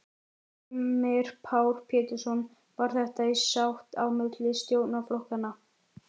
Heimir Már Pétursson: Var þetta í sátt á milli stjórnarflokkanna?